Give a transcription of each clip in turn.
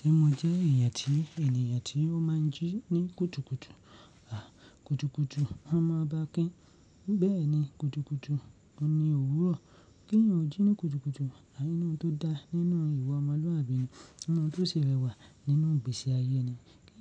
Ṣé mo jẹ́ èèyàn tí ènìyàn tí ó máa ń jí ní kùtùkùtù? À, kùtùkùtù a máa bá kí n. Bẹ́ẹ̀ ni, kùtùkùtù òun ní òwúrọ̀. Kí eeyan jí ní kùtùkùtù nínú tó dá nínú ìwà ọmọlúwàbí ni ninu n tó ṣi rẹwà nínú ìgbésí ayé ẹni. Kí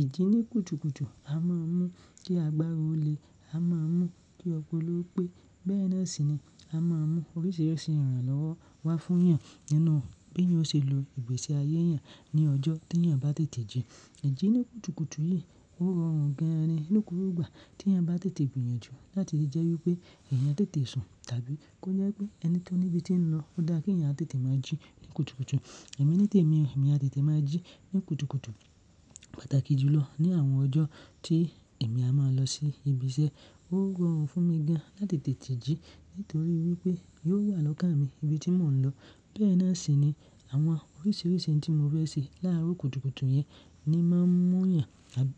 ìjí ní kùtùkùtù a máa mú kí agbára ó le, a máa mú kí ọpọlọ pé, bẹ́ẹ̀ náà sì ni a máa mú oríṣiríṣi ìrànlọ́wọ́ wá fún èèyàn nínú bí yóò ṣe lo ìgbésí ayé èèyàn ní ọjọ́ tí èèyàn bá tètè jí. Ìjí ní kùtùkùtù yìí ó rọrùn gan-an ní gbogbo igbà tí èèyàn bá tètè gbìyànjú láti lè jẹ́ wí pé èèyàn tètè sùn tàbí kó jẹ́ pé ẹni tó níbi tí ń lọ ó dá kí ẹ̀yàn tètè máa jí ní kùtùkùtù. Ẹ̀mí ní tèmi, èmi á tètè máa jí ní kùtùkùtù pàtàkì jùlọ ní àwọn ọjọ́ tí èmi á máa lọ sí ibi iṣẹ́. Ó rọrùn fún mi gan láti tètè jí nítorí wí pé yóò wà lọ́kàn mi ibi tí mò ń lọ. Bẹ́ẹ̀ náà sì ni àwọn oríṣiríṣi ohun tí mo rẹ́ sì láàárọ̀ kùtùkùtù yẹn ni máa ń mú ìyàn àbí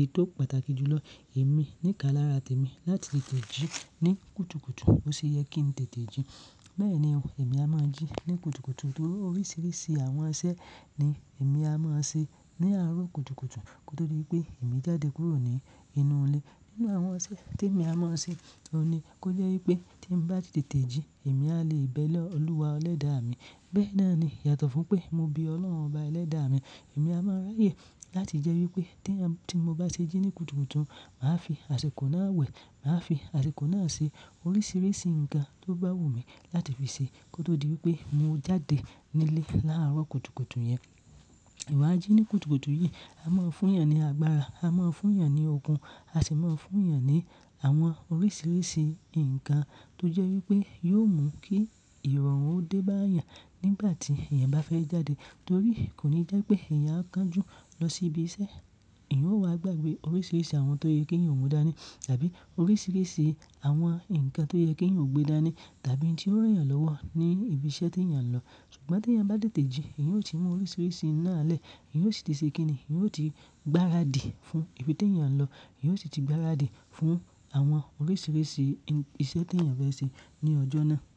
ètò pàtàkì jùlọ èmi níka lára tèmi láti lè tètè jí ní kùtùkùtù. BÓṣeyẹ kí n tètè jí. Bẹ́ẹ̀ni o èmi á máa jí ní kùtùkùtù torí oríṣiríṣi àwọn iṣẹ́ ni èmi á máa ṣe ní àárọ̀ kùtùkùtù kótó di wí pé èmi jáde kúrò ní inú ilé. Nínú àwọn iṣẹ́ tí èmi á máa ṣe, òun ni kó jẹ́ wí pé tí ń bá ti tètè jí èmi á lè bẹ́ẹ̀ lọ Olúwa elẹ́dàà mi. Bẹ́ẹ̀ náà ni yàtọ̀ fún pé mo be Ọlọ́run bá ẹlẹ́dàà mi. Èmi á máa ráyè láti jẹ́ wí pé tí ń ti mo bá ṣe jí ní kùtùkùtù, màá fi àsikọ̀ náà wẹ̀, màá fi àsikọ̀ náà ṣe oríṣiríṣi nǹkan tó bá wù mí láti fi ṣe kótó di wí pé mo jáde nílé láàárọ̀ kùtùkùtù yẹn. Ìwà jí ní kùtùkùtù yìí a máa ń fún èèyàn ní agbára, a máa ń fún èèyàn ní okun, a sì máa ń fún èèyàn ní àwọn oríṣiríṣi nǹkan tó jẹ́ wí pé yóò mú kí ìrọ̀rùn ó dé bá èèyàn nígbà tí èèyàn bá fẹ́ jáde. Torí kò ní jẹ́ pé èèyàn á kan jú lọ sí ibi iṣẹ́. Ẹ̀yin ó wà gbàgbé oríṣiríṣi àwọn tó yẹ kí ẹ̀eyan ò mu dání tàbí oríṣiríṣi àwọn nǹkan tó yẹ kí ẹ̀eyan ò gbé dání tàbí tí ó rán èèyàn lọ́wọ́ ní ibi iṣẹ́ tí èèyàn ń lọ. Ṣùgbọ́n tí èèyàn bá tètè jí, ẹ̀yin ó ti mú oríṣiríṣi n ná lẹ̀, ẹ̀yin ó sì ti ṣe kí ni, ẹ̀yin ó ti gbáradì fún ibi tí èèyàn ń lọ, ẹ̀yin ó sì ti gbáradì fún àwọn oríṣiríṣi iṣẹ́ tí èèyàn fẹ́ ṣe ní ọjọ́ náà.